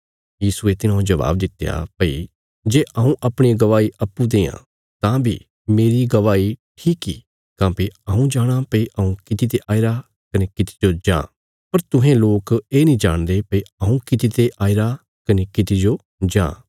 यीशुये तिन्हांजो जबाब दित्या भई जे हऊँ अपणी गवाही अप्पूँ देआं तां बी मेरी गवाही ठीक इ काँह्भई हऊँ जाणाँ भई हऊँ किति ते आईरा कने किति जो जां पर तुहें लोक ये नीं जाणदे भई हऊँ किति ते आईरा कने किति जो जां